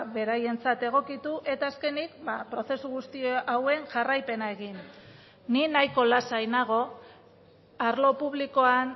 beraientzat egokitu eta azkenik prozesu guzti hauen jarraipena egin ni nahiko lasai nago arlo publikoan